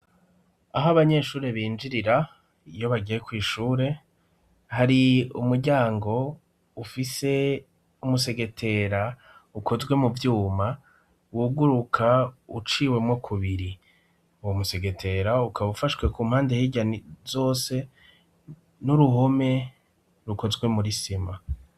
Aho abanyeshuri binjirira iyo bagiye kwishure hari umuryango ufise umusegetera ukozwe mu vyuma wuguruka uciwemo ku biri uwo musegetera ukaba ufashwe ku mpande hirya zose n'uruhome rukozwe muri sima.